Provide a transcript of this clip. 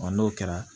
n'o kɛra